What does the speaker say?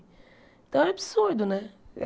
Então, é absurdo, né?